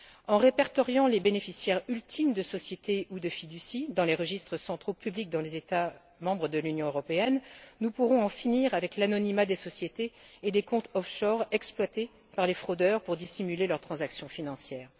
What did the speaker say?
En répertoriant les bénéficiaires ultimes de sociétés ou de fiducies dans les registres centraux publics des États membres de l'Union européenne, nous pourrons en finir avec l'anonymat des sociétés et des comptes offshore exploités par les fraudeurs pour dissimuler leurs transactions financières.